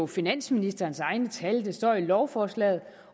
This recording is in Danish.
finansministerens egne tal der står i lovforslaget